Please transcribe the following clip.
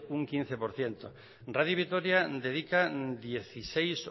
un quince por ciento radio vitoria dedica dieciséis